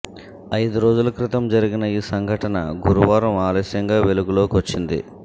ఐదు రోజుల క్రితం జరిగిన ఈ సంఘటన గురువారం ఆలస్యంగా వెలుగులోకొచ్చింది